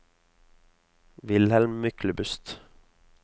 Wilhelm Myklebust